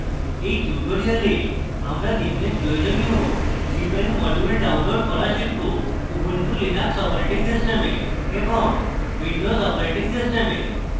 in tutorial আমরা নিম্নে প্রয়োজনীয় cpan modules download করা শিখব